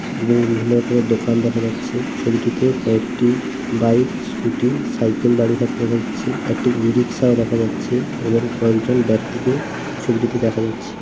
এবং বিভিন্ন রকমের দোকান দেখা যাচ্ছেছবিটিতে কয়েকটি বাইক স্কুটি সাইকেল দাঁড়িয়ে থাকতে হচ্ছেএকটি ই- রিকশাও দেখা যাচ্ছে এবং কয়েকজন ব্যক্তিকে ছবিটিতে দেখা যাচ্ছে ।